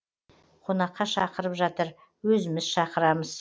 қонаққа шақырып жатыр өзіміз шақырамыз